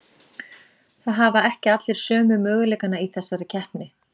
Það hafa ekki allir sömu möguleikana í þessari keppni.